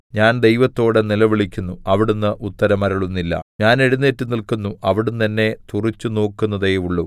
ഞാൻ ദൈവത്തോട് നിലവിളിക്കുന്നു അവിടുന്ന് ഉത്തരം അരുളുന്നില്ല ഞാൻ എഴുന്നേറ്റു നില്ക്കുന്നു അവിടുന്ന് എന്നെ തുറിച്ചുനോക്കുന്നതേയുള്ളു